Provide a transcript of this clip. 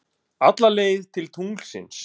Alla leið til tunglsins.